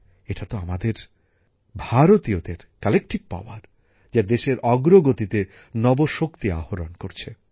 এটাই তো আমাদের ভারতীয়দের যৌথশক্তি যা দেশের অগ্রগতিতে নব শক্তি আহরণ করছে